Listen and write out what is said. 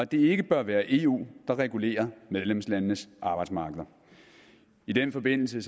det ikke bør være eu der regulerer medlemslandenes arbejdsmarkeder i den forbindelse